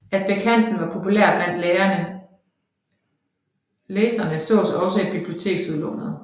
At Bech Hansen var populær blandt læserene sås også i biblioteksudlånet